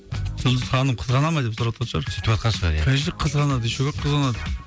жұлдыз ханым қызғана ма деп сұраватқан шығар сүйтіватқан шығар ия конечно қызғанады еще как қызғанады